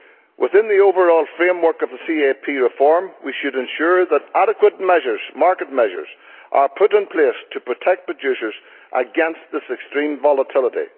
Within the overall framework of the CAP reform, we should ensure that adequate market measures are put in place to protect producers against this extreme volatility.